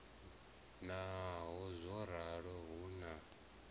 naho zwo ralo hu na